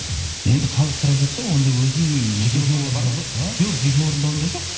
енді халық сұрап жатса онда өзім жоқ жеке орындауымда жоқ